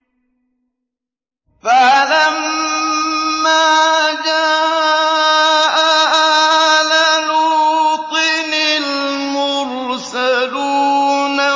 فَلَمَّا جَاءَ آلَ لُوطٍ الْمُرْسَلُونَ